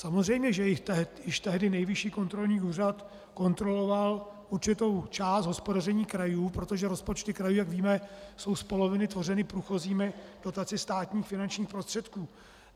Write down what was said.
Samozřejmě, že již tehdy Nejvyšší kontrolní úřad kontroloval určitou část hospodaření krajů, protože rozpočty krajů, jak víme, jsou z poloviny tvořeny průchozími dotacemi státních finančních prostředků.